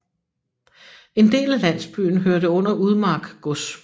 En del af landsbyen hørte under Udmark gods